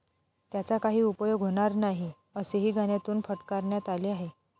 त्याचा काही उपयोग होणार नाही, असेही गाण्यातून फटकारण्यात आले आहे.